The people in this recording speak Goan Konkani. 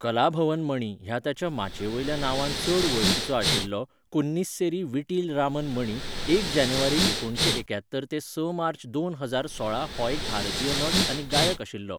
कलाभवन मणी ह्या ताच्या माचयेवेल्या नांवान चड वळखीचो आशिल्लो कुन्निस्सेरी वीटिल रामन मणी एक जानेवारी एकुणशे एक्यात्तर ते स मार्च दोन हजार सोळा हो एक भारतीय नट आनी गायक आशिल्लो.